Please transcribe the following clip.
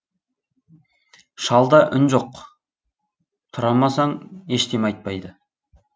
шалда үн жоқ тұрамасаң ештеме айтпайды